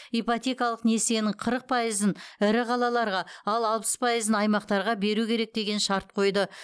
ипотекалық несиенің қырық пайызын ірі қалаларға ал алпыс пайызын аймақтарға береу керек деген шарт қойды